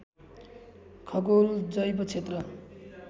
खगोल जैव क्षेत्र